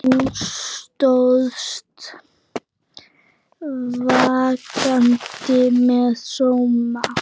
Þú stóðst vaktina með sóma.